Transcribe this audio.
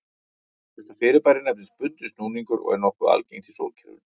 Þetta fyrirbæri nefnist bundinn snúningur og er nokkuð algengt í sólkerfinu.